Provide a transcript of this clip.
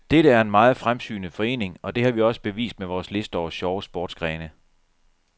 Dette er en meget fremsynet forening, og det har vi også bevist med vores liste over sjove sportsgrene.